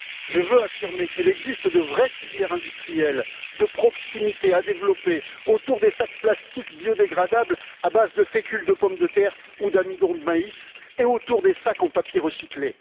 Je veux affirmer qu'il existe de vraies filières industrielles de proximité à développer autour des sacs plastiques biodégradables à base de fécule de pomme de terre ou d'amidon de maïs et autour des sacs en papier recyclé.